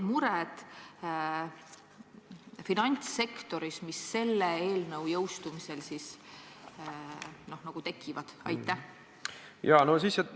Millised on finantssektori mured, mis selle eelnõu jõustumisel tekivad?